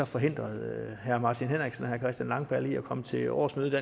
forhindrede herre martin henriksen og herre christian langballe i at komme til årsmødet